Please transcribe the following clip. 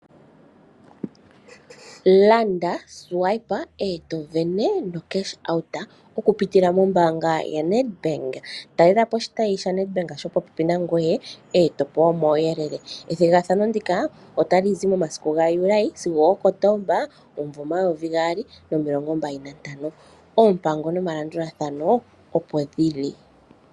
Landa , swipe eto sindana no cash out oku pitila mo mbaanga ya Nedbank. Talelapo oshitayi sha Nedbank sho popepi nangwe eto pewa omawuyelele. Ethigathano ndika otalizi momasiku ga Juli sigo Kotomba omumvo omayovi gaali nomilongo mbali nantano oompango nomalandulathano opo dhili.